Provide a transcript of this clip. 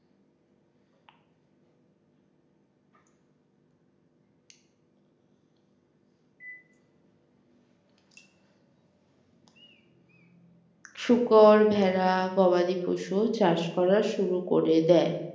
শুকর ভেড়া গবাদি পশু চাষ করা শুরু করে দেয়।